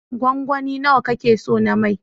Gwangwani nawa ka ke so na mai?